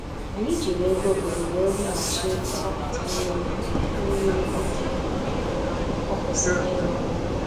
Anyị jiri ego obodo wee wughachi mgbapụta mmiri mmiri oge ọ kwụsịrị ịrụ ọrụ.